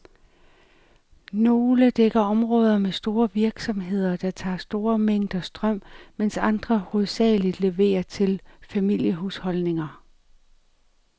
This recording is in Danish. Nogle dækker områder med store virksomheder, der aftager store mængder strøm, mens andre hovedsageligt leverer til familiehusholdninger.